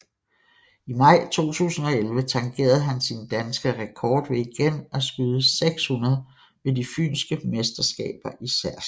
I maj 2011 tangerede han sin danske rekord ved igen at skyde 600 ved de Fynske Mesterskaber i Særslev